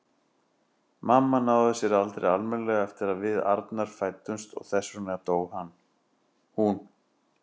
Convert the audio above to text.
Mamma náði sér aldrei almennilega eftir að við Arnar fæddumst og þess vegna dó hún.